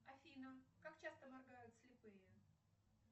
афина как часто моргают слепые